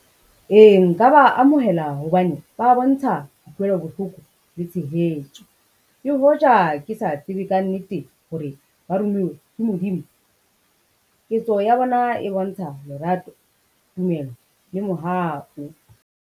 Ee, nka ba amohela hobane ba bontsha kutlwelo bohloko le tshehetso. Le hoja ke sa tsebe ka nnete hore ba rumuwe ke Modimo, ketso ya bona e bontsha lerato, tumelo le mohau.